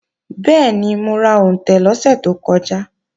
Bẹ́ẹ̀ni, mo ra òǹtẹ̀ lọ́sẹ̀ tó kọjá